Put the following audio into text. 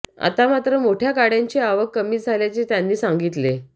आता मात्र मोठ्या गाड्यांची आवक कमी झाल्याचे त्यांनी सांगितले